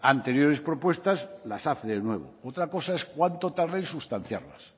anteriores propuestas las hace de nuevo otra cosa es cuánto tarde en sustanciarlas